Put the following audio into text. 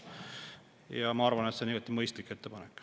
Ja ma arvan, et see on igati mõistlik ettepanek.